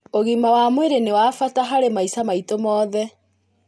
ũgima wa mwĩrĩ nĩ wa bata harĩ maica maitũ mothe.